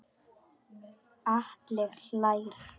Atli hlær.